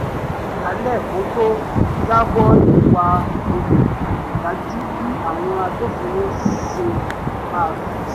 ó kọ̀ jálẹ̀ kó tó jábọ̀ ìwà olè kò dájú bí àwọn agbófinró ṣe maá fèsì